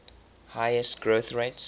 highest growth rates